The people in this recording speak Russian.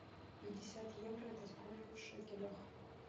пятьдесят евро это сколько в шекелях